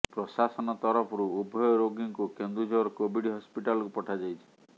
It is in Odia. ପ୍ରଶାସନ ତରଫରୁ ଉଭୟ ରୋଗୀଙ୍କୁ କେନ୍ଦୁଝର କୋଭିଡ୍ ହସ୍ପିଟାଲକୁ ପଠାଯାଇଛି